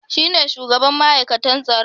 Shi ne shugaban ma'aikatan tsaron